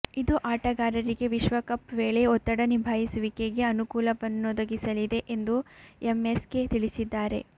ಇದು ಆಟಗಾರರಿಗೆ ವಿಶ್ವಕಪ್ ವೇಳೆ ಒತ್ತಡ ನಿಭಾಯಿಸುವಿಕೆಗೆ ಅನುಕೂಲವನ್ನೊದಗಿಸಲಿದೆ ಎಂದು ಎಂಎಸ್ಕೆ ತಿಳಿಸಿದ್ದಾರೆ